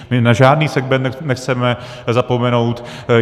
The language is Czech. My na žádný segment nechceme zapomenout.